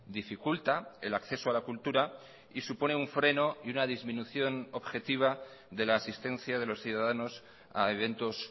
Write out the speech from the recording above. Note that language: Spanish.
dificulta el acceso a la cultura y supone un freno y una disminución objetiva de la asistencia de los ciudadanos a eventos